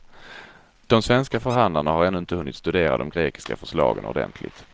De svenska förhandlarna har ännu inte hunnit studera de grekiska förslagen ordentligt.